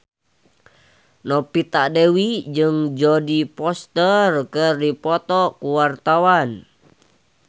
Novita Dewi jeung Jodie Foster keur dipoto ku wartawan